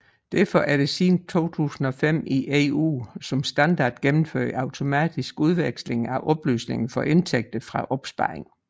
Derfor er der siden 2005 i EU som standard gennemført automatisk udveksling af oplysninger for indtægter fra opsparing